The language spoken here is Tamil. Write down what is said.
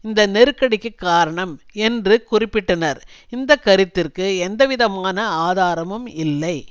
இந்த நெருக்கடிக்கு காரணம் என்று குறிப்பிட்டனர் இந்த கருத்திற்கு எந்தவிதமான ஆதாரமும் இல்லை